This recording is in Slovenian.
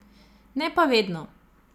Ne pa vedno.